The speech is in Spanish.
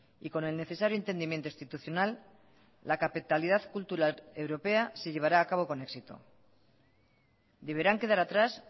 y con el necesario entendimiento institucional la capitalidad cultural europea se llevará a cabo con éxito deberán quedar atrás